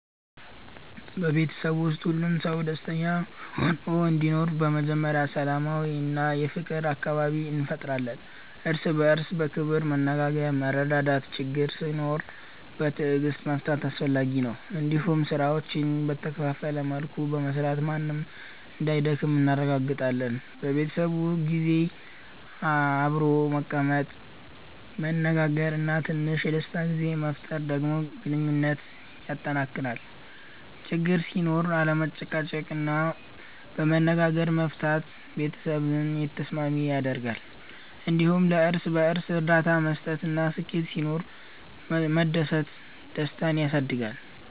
በቤተሰብ ውስጥ ሁሉም ሰው ደስተኛ ሆኖ እንዲኖር በመጀመሪያ ሰላማዊ እና የፍቅር አካባቢ እንፈጥራለን። እርስ በእርስ በክብር መነጋገር፣ መረዳዳት እና ችግኝ ሲኖር በትዕግስት መፍታት አስፈላጊ ነው። እንዲሁም ስራዎችን በተከፋፈለ መልኩ በመስራት ማንም እንዳይደክም እናረጋግጣለን። በቤተሰብ ጊዜ አብሮ መቀመጥ፣ መነጋገር እና ትንሽ የደስታ ጊዜ መፍጠር ደግሞ ግንኙነትን ያጠናክራል። ችግኝ ሲኖር አለመጨቃጨቅ እና በመነጋገር መፍታት ቤተሰብን የተስማሚ ያደርጋል። እንዲሁም ለእርስ በእርስ እርዳታ መስጠት እና ስኬት ሲኖር መደሰት ደስታን ያሳድጋል።